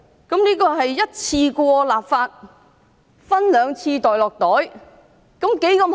這樣是一次過立法，分兩次"落袋"，多好！